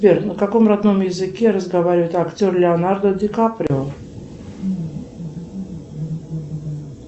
сбер на каком родном языке разговаривает актер леонардо ди каприо